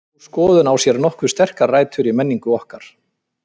Sú skoðun á sér nokkuð sterkar rætur í menningu okkar.